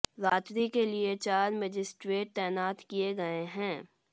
रात्रि के लिए चार मजिस्ट्रेट तैनात किए गए हैं